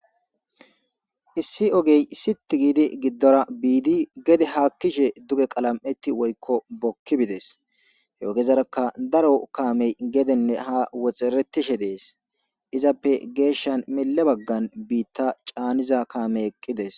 issi ogey sit giidi giddora biidi gede haakkishe duge qalam7eti woykko bokki bides he ogezaraka daro kaamey gedenne ha woxeretishe dees izappe geeshshan mile baggan biitta caaniza kaame eqqides.